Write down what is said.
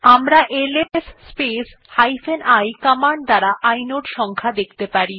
আমরা LS space i command দ্বারা inode সংখ্যা দেখতে পারি